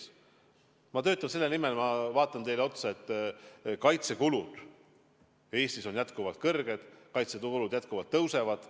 Aga ma töötan selle nimel ja ma kinnitan teile otsa vaadates, et kaitsekulud Eestis on jätkuvalt kõrged, kaitsekulud jätkuvalt tõusevad.